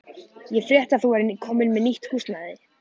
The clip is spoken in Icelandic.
Ég frétti að þú værir komin með nýtt húsnæði.